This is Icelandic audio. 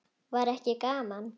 Var ekki gaman?